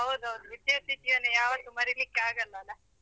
ಹೌದೌದು ವಿದ್ಯಾರ್ಥಿ ಜೀವನ ಯಾವತ್ತು ಮರಿಲಿಕ್ಕೆ ಆಗಲ್ಲ ಅಲ.